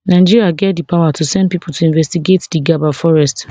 nigeria get di power to send pipo to investigate di gaba forest